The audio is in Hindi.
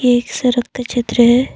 ये एक सड़क का चित्र है।